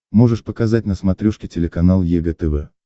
можешь показать на смотрешке телеканал егэ тв